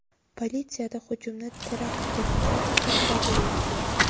Politsiyada hujumni terakt deb atash uchun dalillar yo‘q.